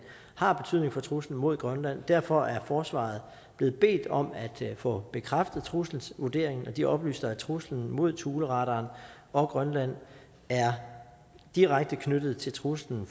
har betydning for truslen mod grønland derfor er forsvaret blev bedt om at få bekræftet trusselsvurderingen og de oplyser at truslen mod thuleradaren og grønland er direkte knyttet til truslen